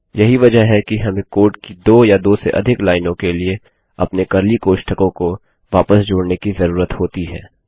यही वजह है कि हमें कोड की दो या दो से अधिक लाइनों के लिए अपने कर्ली कोष्ठकों को वापस जोड़ने की जरूरत होती है